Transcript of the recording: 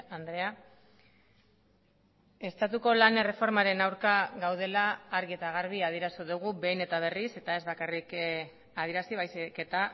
andrea estatuko lan erreformaren aurka gaudela argi eta garbi adierazi dugu behin eta berriz eta ez bakarrik adierazi baizik eta